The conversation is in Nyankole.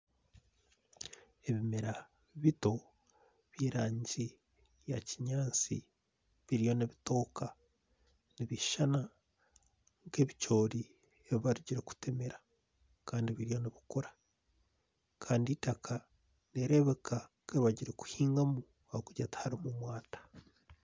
Ebimera bito by'erangi ya kinyaatsi biriyo nibitooka, nibishushana nk'ebicoori ebi barugire kutemera. Kandi biri aha kukura. Kandi eitaka nirireebeka nk'eribarugire kuhingamu ahabw'okugira tiharimu mwata.